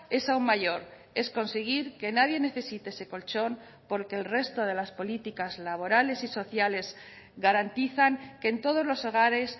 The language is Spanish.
es aún mayor es conseguir que nadie necesite ese colchón porque el resto de las políticas laborales y sociales garantizan que en todos los hogares